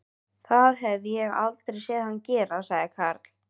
Það hef ég aldrei séð hann gera sagði Karl.